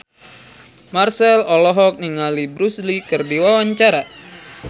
Marchell olohok ningali Bruce Lee keur diwawancara